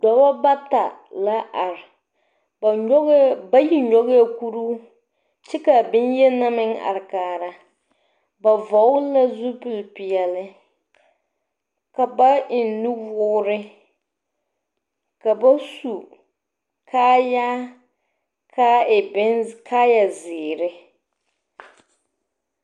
Dͻbͻ bata la are, ba nyͻgԑԑ bayi nyͻgԑԑ kuruu kyԑ ka a boŋyeni na meŋ are kaara. Ba vͻgele la zupili peԑle. Ka ba eŋ nuwoore, ka ba su kaayaa ka a e bimze kaayazeere.